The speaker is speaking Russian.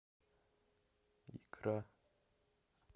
икра